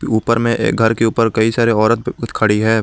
ऊपर में ये घर के ऊपर कई सारे औरत खड़ी है।